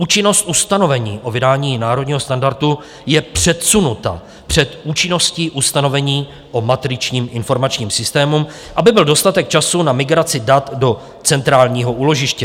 Účinnost ustanovení o vydání národního standardu je předsunuta před účinností ustanovení o matričním informačním systému, aby byl dostatek času na migraci dat do centrálního úložiště.